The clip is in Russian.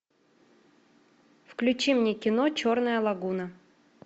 включи мне кино черная лагуна